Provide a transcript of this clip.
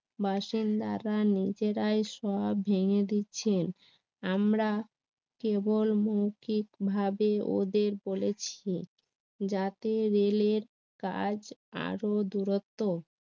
বাসিন্দারা নিজেরাই সব ভেঙে দিচ্ছেন আমরা কেবল মৌখিকভাবে ওদের বলেছি যাতে রেলের কাজ আরো দূরত্ব